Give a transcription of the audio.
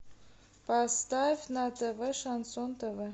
поставь на тв шансон тв